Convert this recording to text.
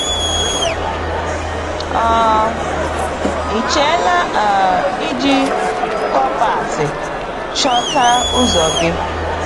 um Ị chela um iji kọ̀mpas chọta ụzọ gị?